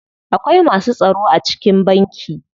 Akwai masu tsaro a cikin banki.